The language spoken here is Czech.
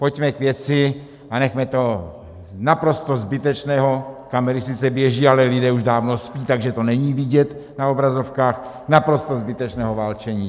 Pojďme k věci a nechme toho naprosto zbytečného - kamery sice běží, ale lidé už dávno spí, takže to není vidět na obrazovkách - naprosto zbytečného válčení.